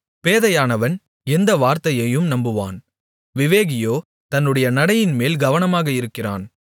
பேதையானவன் எந்த வார்த்தையையும் நம்புவான் விவேகியோ தன்னுடைய நடையின்மேல் கவனமாக இருக்கிறான்